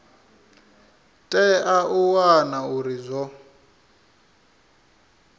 tea u wana uri zwo